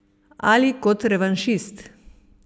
Ali kot revanšist!